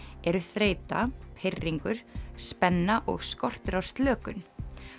eru þreyta pirringur spenna og skortur á slökun